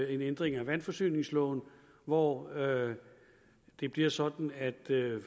ændring af vandforsyningsloven hvor det bliver sådan at